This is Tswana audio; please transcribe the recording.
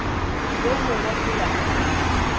yo mongwe go ya kwa